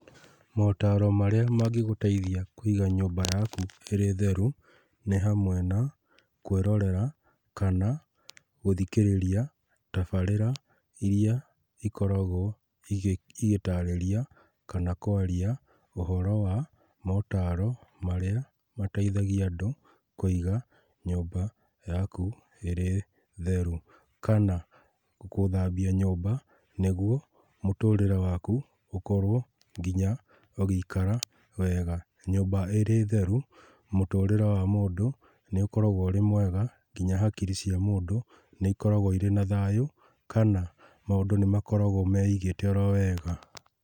Motaro marĩa mangĩgũteithia kũiga nyũmba yaku ĩrĩtheru nĩ hamwe na, kũĩrorera kana gũthikĩrĩria tabarĩra iria ikoragwo ĩgĩtarĩria kana kwaria ũhoro wa motaro marĩa mateithagia andũ kũiga nyũmba yaku ĩrĩ theru. Kana gũthambia nyũmba nĩguo mũtũrĩre waku ũkorwa nginya ũgĩikara wega. Nyũmba ĩrĩ theru, mũtũrĩre wa mũndũ nĩ ũkoragwo wĩmwega nginya hakiri cia mũndũ nĩ cikoragwo irĩna thayũ kana maũndũ nĩ makoragwo meigĩte orowega.